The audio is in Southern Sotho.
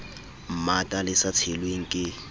mmata le sa tshelweng ke